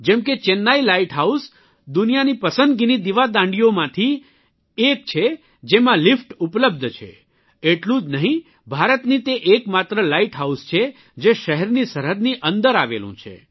જેમ કે Chennai lighthouse દુનિયાની પસંદગીની દિવાદાંડીઓમાંથી એક છે જેમાં એલિવેટર ઉપલબ્ધ છે એટલું જ નહિં ભારતનું તે એકમાત્ર લાઇટહાઉસ છે જે શહેરની સરહદની અંદર આવેલું છે